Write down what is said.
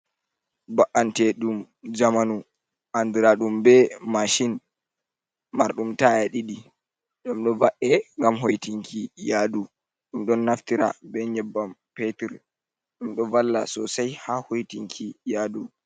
Ba’anteɗum njamanu andiraɗum be mashin marɗum taya ɗiɗi, ɗom do ba’e ngam hoitinki yadu, ɗum ɗon naftira be nyebbam petur, ɗum ɗo valla sosai haa hoitinki yadu.